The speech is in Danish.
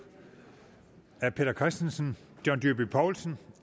af peter christensen john dyrby paulsen